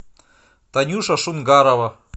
танюша шунгарова